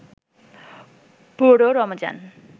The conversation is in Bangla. পুরো রমজান